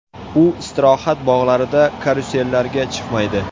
U istirohat bog‘larida karusellarga chiqmaydi.